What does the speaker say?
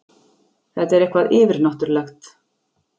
Þetta er eitthvað yfirnáttúrlegt.